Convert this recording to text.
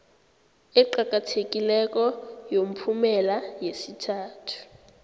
eqakathekileko yomphumela yesithathu